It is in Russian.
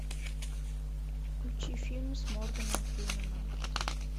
включи фильм с морганом фрименом